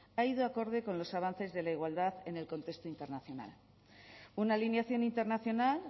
ha ido acorde con los avances de la igualdad en el contexto internacional una alineación internacional